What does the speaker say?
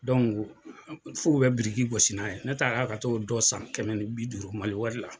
fɔ bɛ biriki gosi n'a ye ne taara ka t'o dɔ san kɛmɛ ni bi duuru maliwari la.